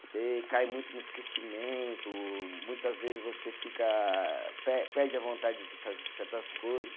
Você cai muito no esquecimento, muitas vezes você fica, pe perde a vontade de fazer certas coisas.